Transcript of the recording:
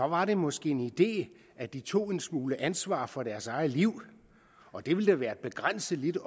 var det måske en idé at de tog en smule ansvar for deres eget liv det ville da være et begrænset lille